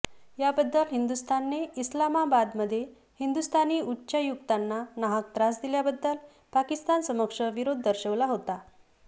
याबद्दल हिंदुस्थानने इस्लामाबादमध्ये हिंदुस्थानी उच्चायुक्तांना नाहक त्रास दिल्याबद्दल पाकिस्तानसमक्ष विरोध दर्शवला होता